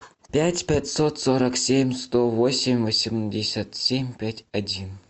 пять пятьсот сорок семь сто восемь восемьдесят семь пять один